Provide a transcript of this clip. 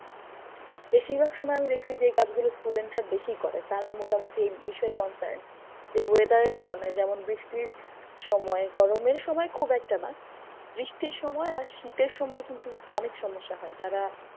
বেশিরভাগ সময় আমি দেখসি যে, এই কাজ গুলো student রা বেশি করে। তারা মোটামোটি এই বিষয়ে concern যে weather এর কারণে। যেমন বৃষ্টির সময়, গরমের সময় খুব একটা না। বৃষ্টির সময় আর শীতের সময় কিন্তু অনেক সমস্যা হয়। যারা